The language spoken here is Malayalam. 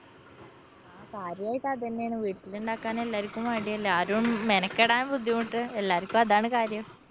ആ കാര്യായിട്ട് അത് തന്നെയാണ്. വീട്ടിലിണ്ടാക്കാന്‍ എല്ലാര്‍ക്കും മടിയല്ലേ? ആരും മെനക്കെടാന്‍ ബുദ്ധിമുട്ട്. എല്ലാര്‍ക്കും അതാണ്‌ കാര്യം.